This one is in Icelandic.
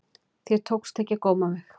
Þér tókst ekki að góma mig.